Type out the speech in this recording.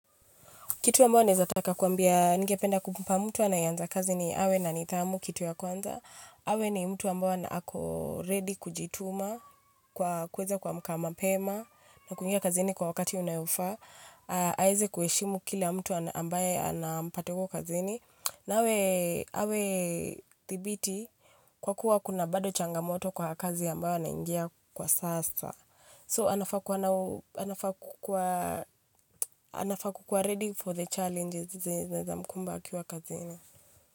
Kitu ambao ni zataka kuambia ngependa kumpa mtu anayanza kazi ni awe na nithamu kitu ya kwanza. Awe ni mtu ambao na ako ready kujituma kwa kuweza kuamka mapema na kuingia kazi ni kwa wakati unayufa. Aize kueshimu kila mtu ambaye anampata kwa kazini. Nawa awe tibiti kwa kuwa kuna bado changamoto kwa kazi ambao na ingia kwa sasa. So, anafakuwa ready for the challenges na zamkumba akiwa kazina.